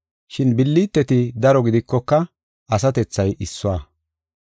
Shin billiteti daro gidikoka, asatethay issuwa.